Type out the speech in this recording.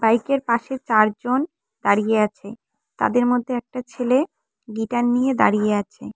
বাইকের পাশে চারজন দাঁড়িয়ে আছে তাদের মধ্যে একটা ছেলে গিটার নিয়ে দাঁড়িয়ে আছে।